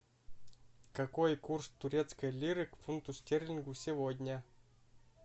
какой курс турецкой лиры к фунту стерлингу сегодня